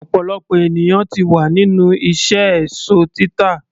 ọ̀pọ̀lọpọ̀ ènìyàn ti wà nínú iṣẹ́ èsó títà